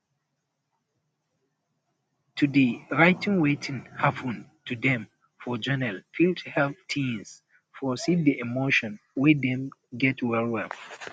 to dey um write wetin um hapun to dem for journal fit help teens process di emotion wey um dem get well well